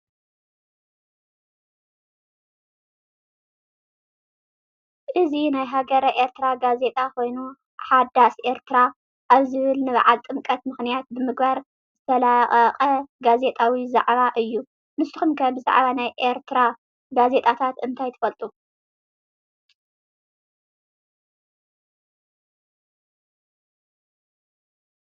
እዚ ናይ ሃገረ ኤርትራ ጋዜጣ ኮይኑ ሓዳስ ኤርትራ ኣብ ዝብል ንበዓል ጥምቀት ምኽንያት ብምግባር ዝተለቐቐ ጋዜጣዊ ዛዕባ እዩ፡፡ ንስኹም ከ ብዛዕባ ናይ ኤሪትራ ጋዜጣታት እንታይ ትፈልጡ?